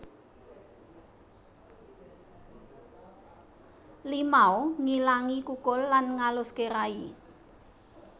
Limau nghilangi kukul lan ngaluské rai